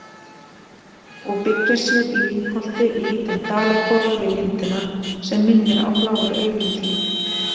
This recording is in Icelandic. og byggja sér í lyngholti lítinn dalakofa við lindina, sem minnir á bláu augun þín.